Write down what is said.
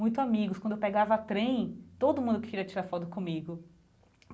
Muito amigos, quando eu pegava trem, todo mundo queria tirar foto comigo.